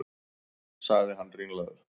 sagði hann ringlaður.